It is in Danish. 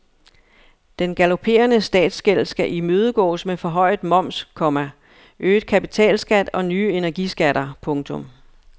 Den galopperende statsgæld skal imødegås med forhøjet moms, komma øget kapitalskat og nye energiskatter. punktum